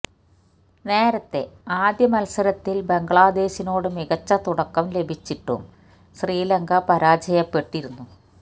നേരത്തെ ആദ്യ മത്സരത്തില് ബംഗ്ലാദേശിനോട് മികച്ച തുടക്കം ലഭിച്ചിട്ടും ശ്രീലങ്ക പരാജയപ്പെട്ടിരുന്നു